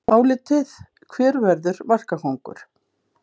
Álitið: Hver verður markakóngur?